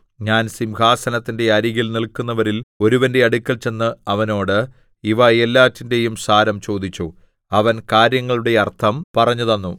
ഞാൻ സിംഹാസനത്തിന്റെ അരികിൽ നില്ക്കുന്നവരിൽ ഒരുവന്റെ അടുക്കൽ ചെന്ന് അവനോട് ഇവ എല്ലാറ്റിന്റെയും സാരം ചോദിച്ചു അവൻ കാര്യങ്ങളുടെ അർത്ഥം പറഞ്ഞുതന്നു